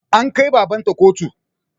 An kai baban ta kotu